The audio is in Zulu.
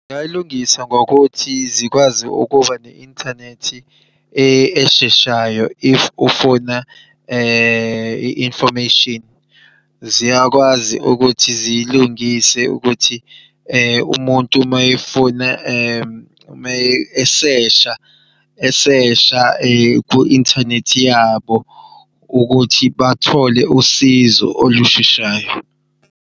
Ngingay'lungisa ngokuthi zikwazi ukuba ne-inthanethi esheshayo if ufuna i-information. Ziyakwazi ukuthi ziyilungise ukuthi umuntu mayefuna ume eshesha esesha ku-inthanethi yabo ukuthi bathole usizo olusheshayo.